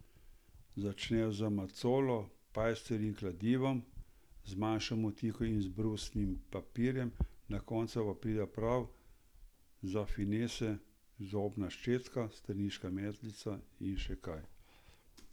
Začnejo z macolo, pajserji in kladivom, z manjšo motiko in z brusnim papirjem, na koncu pa pridejo prav za finese zobna krtačka, straniščna metlica in še kaj.